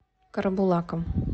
карабулаком